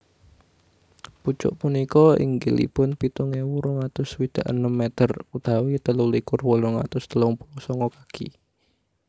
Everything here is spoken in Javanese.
Pucuk punika inggilipun pitung ewu rong atus swidak enem meter utawi telu likur wolung atus telung puluh sanga kaki